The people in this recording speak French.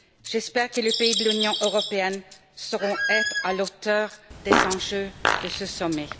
J'espère que les pays de l'Union européenne sauront être à la hauteur des enjeux de ce sommet.